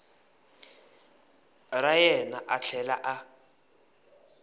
ra yena a tlhela a